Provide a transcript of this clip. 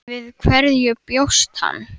Við hverju bjóst hann?